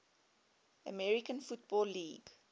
american football league